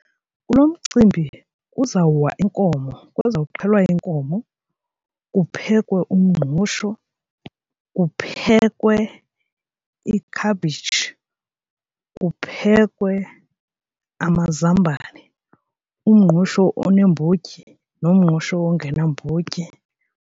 Kulo mcimbi kuzawuwa inkomo, kuzawuxhelwa inkomo, kuphekwe umngqusho, kuphekwe ikhabhitshi, kuphekwe amazambane, umngqusho oneembotyi nomngqusho ongenambotyi.